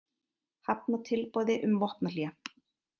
Hafna tilboði um vopnahlé